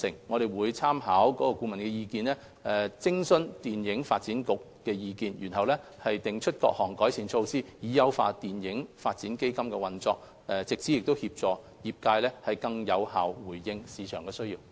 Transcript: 我們會參考顧問的意見，並諮詢電影發展局的意見，然後訂出各項改善建議，以優化電影發展基金的運作，藉此協助業界更有效回應市場所需。